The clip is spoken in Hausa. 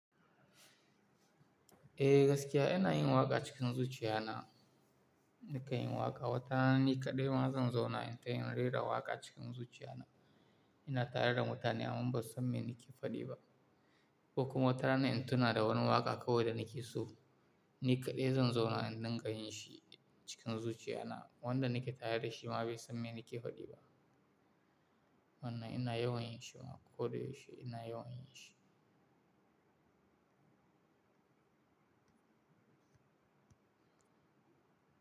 Eh gaskiya ina yin waƙa cikin zuciya na, nika yin waƙa. Wata rana ni kaɗai ma zan zauna in ta rera waƙa cikin zuciya na. Ina tare da mutane amma ba su san me nake faɗi ba. Ko kuma wata rana in tuna da wani waƙa kawai da nake so, ni kaɗai zan zauna in dinga yin shi cikin zuciya na. Wanda nake tare da shi ma bai san me nake faɗi ba. Amma ina yawan yin shi ma, ko da yaushe ina yawan yin shi.